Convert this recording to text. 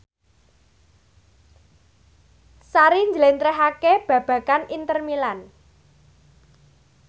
Sari njlentrehake babagan Inter Milan